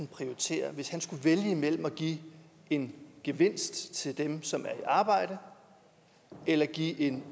prioritere hvis han skulle vælge mellem at give en gevinst til dem som er i arbejde eller give en